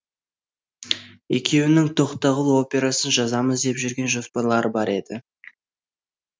екеуінің тоқтағұл операсын жазамыз деп жүрген жоспарлары бар еді